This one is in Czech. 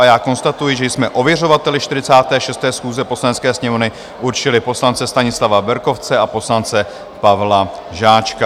A já konstatuji, že jsme ověřovateli 46. schůze Poslanecké sněmovny určili poslance Stanislava Berkovce a poslance Pavla Žáčka.